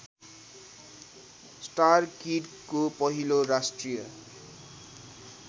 स्टारकिडको पहिलो राष्ट्रिय